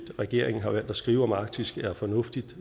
regeringen har valgt at skrive om arktis er fornuftigt